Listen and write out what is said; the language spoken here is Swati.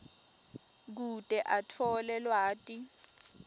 kute atfole lwati